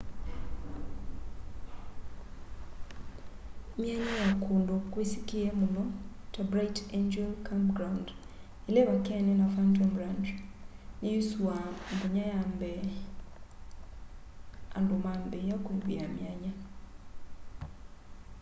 myanya ya kũndũ kwisikie mũno ta bright angel campground ila ivakene na phantom ranch ni yusuua mthenya wa mbee andũ maambia kuivia myanya